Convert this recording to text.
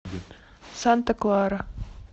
санта клара